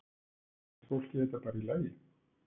Finnst fólki þetta bara í lagi?